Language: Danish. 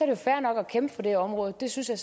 jo fair nok at kæmpe for det område det synes jeg